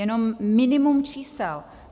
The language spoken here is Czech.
Jenom minimum čísel.